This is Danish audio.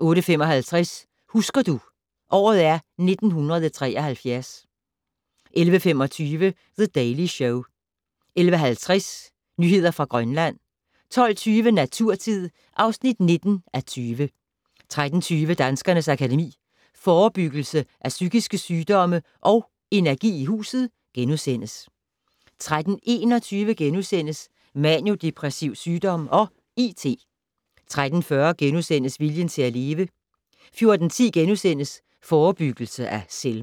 08:55: Husker du - året er 1973 11:25: The Daily Show 11:50: Nyheder fra Grønland 12:20: Naturtid (19:20) 13:20: Danskernes Akademi: Forebyggelse af psykiske sygdomme & Energi i huset * 13:21: Manio-depressiv sygdom og IT * 13:40: Viljen til at leve * 14:10: Forebyggelse af selvmord *